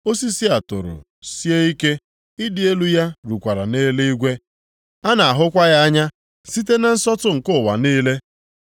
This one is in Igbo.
Osisi a toro sie ike, ịdị elu ya rukwara nʼeluigwe, a na-ahụkwa ya anya site na nsọtụ nke ụwa niile.